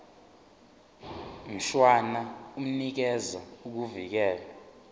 mshwana unikeza ukuvikelwa